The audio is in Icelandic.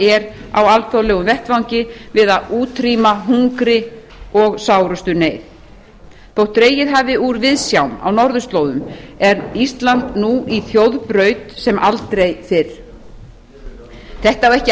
á alþjóðlegum vettvangi við að útrýma hungri og sárustu neyð þótt dregið hafi úr viðsjám á norðurslóðum er ísland nú í þjóðbraut sem aldrei fyrr þetta á ekki aðeins